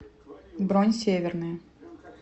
бронь северная